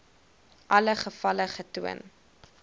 alle gevalle getoon